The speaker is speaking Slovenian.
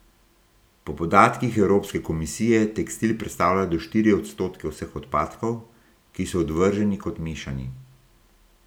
Po podatkih evropske komisije tekstil predstavlja do štiri odstotke vseh odpadkov, ki so odvrženi kot mešani.